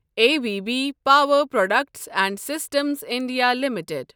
A B B power products and systems India limited